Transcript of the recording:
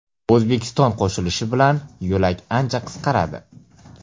O‘zbekiston qo‘shilishi bilan yo‘lak ancha qisqaradi.